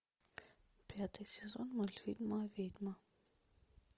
пятый сезон мультфильма ведьма